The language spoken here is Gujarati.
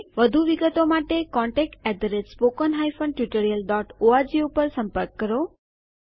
વધુ વિગતો માટે contactspoken tutorialorg ઉપર સંપર્ક કરો